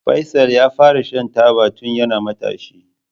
Faisal yafara shan taba tun yana matashi.